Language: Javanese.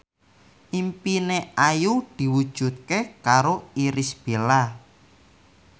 impine Ayu diwujudke karo Irish Bella